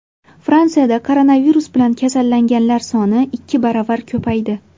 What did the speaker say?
Fransiyada koronavirus bilan kasallanganlar soni ikki baravar ko‘paydi.